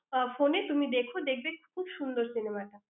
আহ phone এ তুমি দেখো, দেখবে খুব সুন্দর cinema টা।